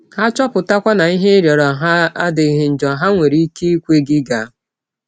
Ha chọpụtakwa na ihe ị rịọrọ ha adịghị njọ, ha nwere ike ikwe gị gaa.